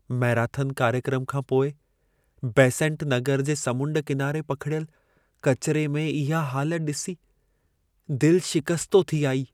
Marathon कार्यक्रम खां पोइ बेसेंट नगर जे समुंड किनारे पखिड़ियल किचिरे में इहा हालत ॾिसी दिलि शिकस्तो थी आई।